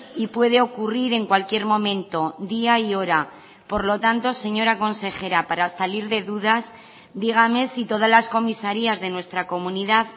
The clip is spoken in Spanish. y puede ocurrir en cualquier momento día y hora por lo tanto señora consejera para salir de dudas dígame si todas las comisarías de nuestra comunidad